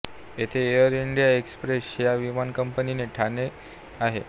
येथे Air India Express या विमानकंपनीचे ठाणे आहे